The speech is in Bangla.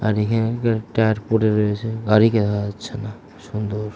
আরে এখানে একজোড়া টায়ার পড়ে রয়েছে গাড়িকে পাওয়া যাচ্ছে না সুন্দর--